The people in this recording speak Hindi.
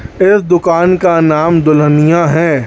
इस दुकान का नाम दुल्हनिया है।